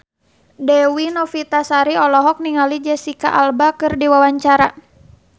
Dewi Novitasari olohok ningali Jesicca Alba keur diwawancara